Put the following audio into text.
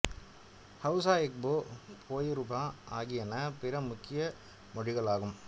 Hausa Igbo Yoruba ஆகியன பிற முக்கிய மொழிகள் ஆகும்